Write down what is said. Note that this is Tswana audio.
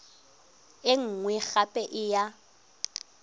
e nngwe gape e ya